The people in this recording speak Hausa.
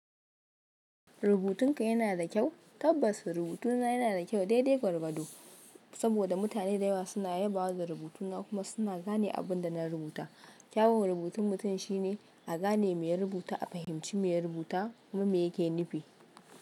Rubutun ka yana da kyau? Tabbas rubutuna yana da kyau, dai dai gwargwado. Saboda mutane da yawa suna yabawa da rubutuna kuma suna gane abin da na rubuta. Kyawun rubutun mutum shine a gane mai ya rubuta, a fahimci me ya rubuta kuma me ya ke nufi.